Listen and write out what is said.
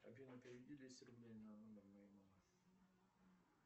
афина переведи двести рублей на номер моей мамы